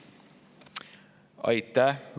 Aitäh!